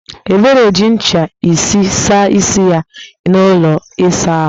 Ebere ji ncha isi saa isi ya n'ụlọ ịsa ahụ